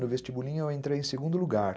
No vestibulinho, eu entrei em segundo lugar.